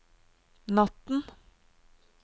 natten